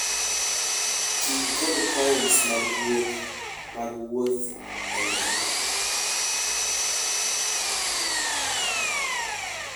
Ti kod points mag gweth mag wuoth e ndege.